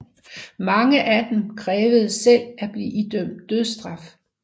Mange af dem krævede selv at blive idømt dødsstraf